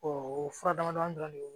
o fura damadɔ dɔrɔn de don